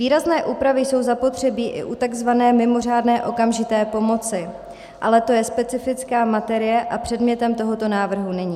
Výrazné úpravy jsou zapotřebí i u takzvané mimořádné okamžité pomoci, ale to je specifická materie a předmětem tohoto návrhu není.